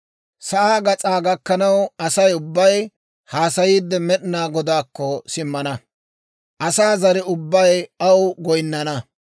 Sa'aa gas'aa gakkanaw Asay ubbay hassayiide, Med'inaa Godaakko simmana. Asaa zare ubbay aw goyinnana.